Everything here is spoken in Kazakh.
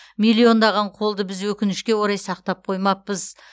миллиондаған қолды біз өкінішке орай сақтап қоймаппыз